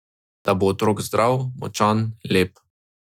Da bo otrok zdrav, močan, lep.